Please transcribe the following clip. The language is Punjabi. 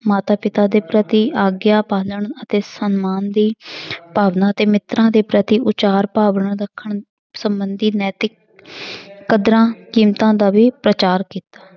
ਮਾਤਾ ਪਿਤਾ ਦੇ ਪ੍ਰਤੀ ਆਗਿਆ ਪਾਲਣ ਅਤੇ ਸਮਾਨ ਦੀ ਭਾਵਨਾ ਅਤੇ ਮਿਤਰਾਂ ਦੇ ਪ੍ਰਤੀ ਉਚਾਰ ਭਾਵਨਾ ਰੱਖਣ ਸੰਬੰਧੀ ਨੈਤਿਕ ਕਦਰਾਂ ਕੀਮਤਾਂ ਦਾ ਵੀ ਪ੍ਰਚਾਰ ਕੀਤਾ।